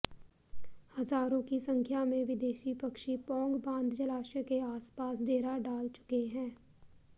हजारों की संख्या में विदेशी पक्षी पौंग बांध जलाशय के आसपास डेरा डाल चुके हैं